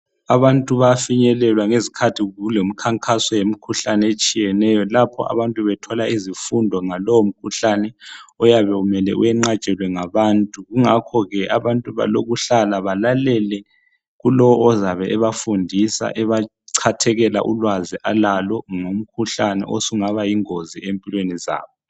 Abantu bayafinyelelwa ngesikhathi kulemikhankaso yemikhuhlane etshiyeneyo lapha abantu bethola izifundo ngalowo mkhuhlane oyabe kumele uyeqatshwele ngabantu ngakho ke abantu balokuhlala balalele kulo ozabe ebebafundisa ebacathekele ulwazi alalo ngomkhuhlane osungaba yingozi empilweni zabo.